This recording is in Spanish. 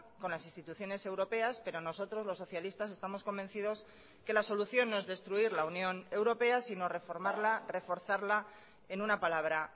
con las instituciones europeas pero nosotros los socialistas estamos convencidos que la solución no es destruir la unión europea sino reformarla reforzarla en una palabra